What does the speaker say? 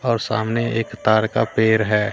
और सामने एक तार का पेड़ है।